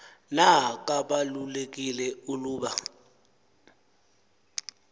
na kabalulekile uluba